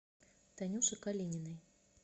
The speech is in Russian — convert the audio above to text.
танюше калининой